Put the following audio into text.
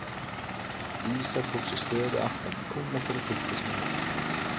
Dísa tók sér stöðu aftan við kúna til að fylgjast með nautinu.